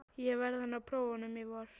Ég verð að ná prófunum í vor.